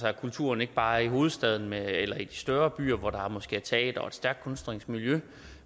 at kulturen ikke bare er i hovedstaden eller i de større byer hvor der måske er teatre og et stærkt kunstnerisk miljø